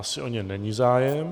Asi o ně není zájem.